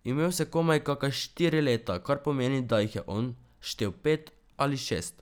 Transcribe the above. Imel sem komaj kaka štiri leta, kar pomeni, da jih je on štel pet ali šest.